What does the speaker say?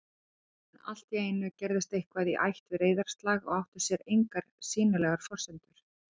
En alltíeinu gerðist eitthvað í ætt við reiðarslag og átti sér engar sýnilegar forsendur